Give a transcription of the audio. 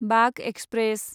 Bagh express